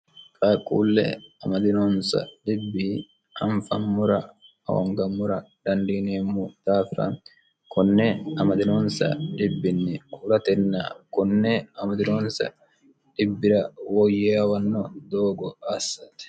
kaquulle amadironsa dibi anfammura ahongamura dandiinie mu daafira kunne amadironsa dibbinni huratenn kunne amadironsa dibbira woyyeawanno doogo assati